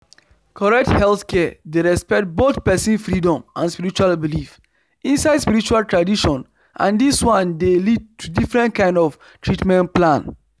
correct healthcare dey respect both person freedom and spiritual belief inside spiritual tradition and this one dey lead to different kind of treatment plan